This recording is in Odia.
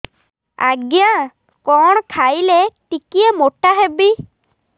ଆଜ୍ଞା କଣ୍ ଖାଇଲେ ଟିକିଏ ମୋଟା ହେବି